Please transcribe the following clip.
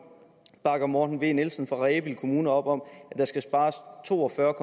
bakker morten v nielsen fra rebild kommune op om at der skal spares to og fyrre